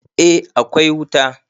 eh akwai wuta